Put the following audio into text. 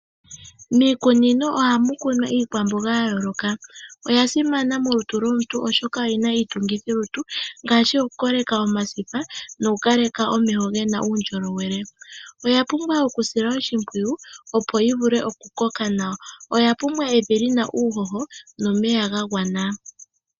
Miikunino ohamu kunwa iikwamboga yayooloka. Oya simana molutu lwomuntu oshoka oyina iitungithilutu yokukoleka omasipa nokukaleka omeho gena uundjowele. Oya pumbwa okusilwa oshimpwiyu opo yivule okukoka nawa . Oya pumbwa evi lina uuhoho nomeya gagwana.